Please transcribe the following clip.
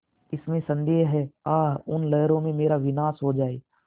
इसमें संदेह है आह उन लहरों में मेरा विनाश हो जाए